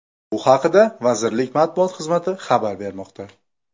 Bu haqda Vazirlik matbuot xizmati xabar bermoqda .